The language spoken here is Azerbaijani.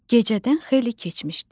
Gecədən xeyli keçmişdi.